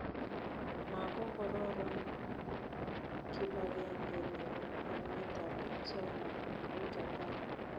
Magogororon kibagenge nebo emetab China ago Japan